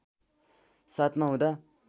७ मा हुँदा